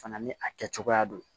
Fana ni a kɛ cogoya don